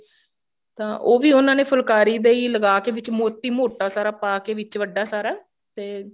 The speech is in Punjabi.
ਤਾਂ ਉਹ ਵੀ ਉਹਨਾ ਨੇ ਫੁਲਕਾਰੀ ਦੇ ਹੀ ਲਗਾ ਕੇ ਵਿੱਚ ਮੋਤੀ ਮੋਟਾ ਸਾਰਾ ਪਾ ਕੇ ਵਿੱਚ ਵੱਡਾ ਸਾਰਾ ਫੇਰ